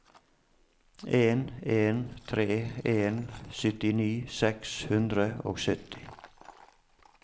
en en tre en syttini seks hundre og sytti